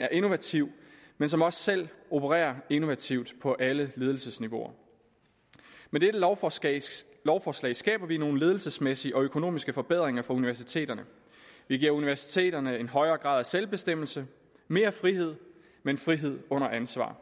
er innovative men som også selv opererer innovativt på alle ledelsesniveauer med dette lovforslag lovforslag skaber vi nogle ledelsesmæssige og økonomiske forbedringer for universiteterne vi giver universiteterne en højere grad af selvbestemmelse mere frihed men frihed under ansvar